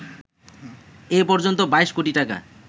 এ পর্যন্ত ২২ কোটি টাকা